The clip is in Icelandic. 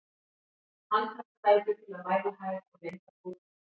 Handhægt tæki til að mæla hæð og lengd á bókum.